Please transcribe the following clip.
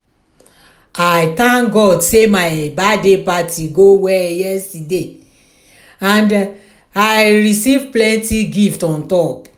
i thank god say my birthday party go well yesterday and i receive plenty gift on top